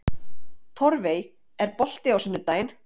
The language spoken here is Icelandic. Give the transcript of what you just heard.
Torfey, er bolti á sunnudaginn?